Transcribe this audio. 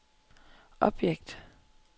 objekt